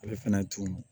Ale fɛnɛ tun